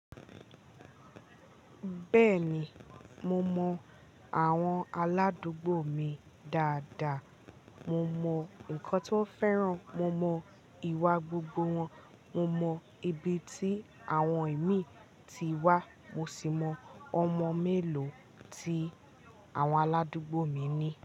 Bẹ́ẹ̀ni, mo mọ àwọn aládùúgbò mi dáadáa. Mo mọ nǹkan ti won fẹ́ràn, mo mọ ìwà gbogbo wọn, mo mọ ibi tí àwọn imí ti wá, mo sì mọ ọmọ mélòó tí àwọn aládùúgbò mi ní.